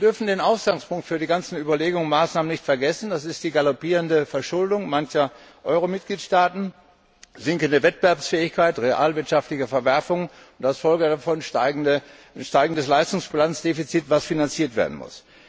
Wir dürfen den Ausgangspunkt für die ganzen Überlegungen und Maßnahmen nicht vergessen, nämlich die galoppierende Verschuldung mancher Euro Mitgliedstaaten, die sinkende Wettbewerbsfähigkeit, realwirtschaftliche Verwerfungen und als Folge davon ein steigendes Leistungsfinanzdefizit, das finanziert werden muss.